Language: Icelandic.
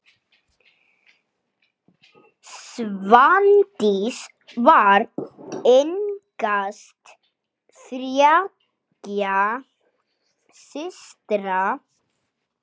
Svandís var yngst þriggja systra.